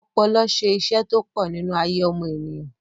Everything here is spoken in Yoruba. ọpọlọ se isẹ́ tó pọ̀ nínú ayé ọmọ ènìyàn